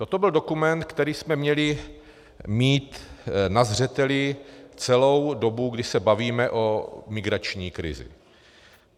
Toto byl dokument, který jsme měli mít na zřeteli celou dobu, kdy se bavíme o migrační krizi.